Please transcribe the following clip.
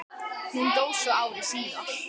Hún dó svo ári síðar.